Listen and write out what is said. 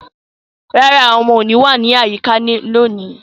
No, the children will not be around today